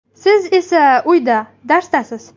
Siz esa uyda darsdasiz!!!